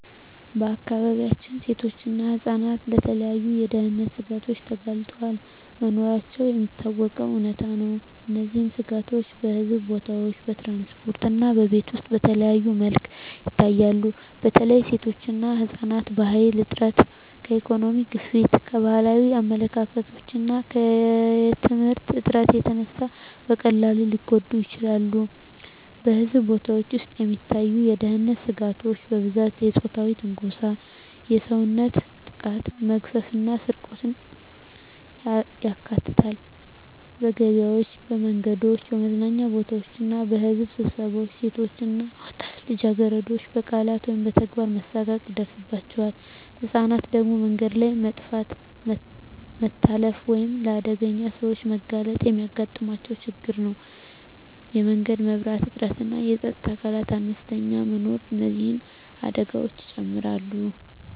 በአካባቢያችን ሴቶችና ህፃናት ለተለያዩ የደህንነት ስጋቶች ተጋልጠው መኖራቸው የሚታወቀው እውነታ ነው። እነዚህ ስጋቶች በሕዝብ ቦታዎች፣ በትራንስፖርት እና በቤት ውስጥ በተለያዩ መልኩ ይታያሉ። በተለይ ሴቶችና ህፃናት ከኃይል እጥረት፣ ከኢኮኖሚ ግፊት፣ ከባህላዊ አመለካከቶች እና ከየትምህርት እጥረት የተነሳ በቀላሉ ሊጎዱ ይችላሉ። በሕዝብ ቦታዎች ውስጥ የሚታዩ የደህንነት ስጋቶች በብዛት የፆታዊ ትንኮሳ፣ የሰውነት ጥቃት፣ መግፈፍ እና ስርቆትን ያካትታሉ። በገበያዎች፣ በመንገዶች፣ በመዝናኛ ቦታዎች እና በሕዝብ ስብሰባዎች ሴቶች እና ወጣት ልጃገረዶች በቃላት ወይም በተግባር መሳቀቅ ይደርሳባቸዋል። ህፃናት ደግሞ በመንገድ ላይ መጥፋት፣ መታለፍ ወይም ለአደገኛ ሰዎች መጋለጥ የሚያጋጥማቸው ችግር ነው። የመንገድ መብራት እጥረትና የፀጥታ አካላት አነስተኛ መኖር እነዚህን አደጋዎች ይጨምራሉ።